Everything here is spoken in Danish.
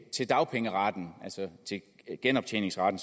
til dagpengeretten altså med genoptjeningsretten